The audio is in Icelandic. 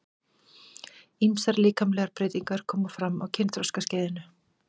Ýmsar líkamlegar breytingar koma fram á kynþroskaskeiðinu.